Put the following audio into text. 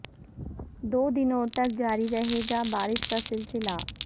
دو دنوں تک جاری رہے گا بارش کا سلسلہ